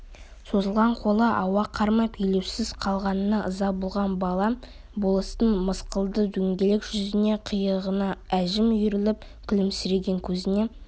созылған қолы ауа қармап елеусіз қалғанына ыза болған бала болыстың мысқылды дөңгелек жүзіне қиығына әжім үйіріліп күлімсіреген көзіне